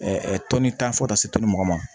tɔni tan fɔ ka taa se tɔnni mugan ma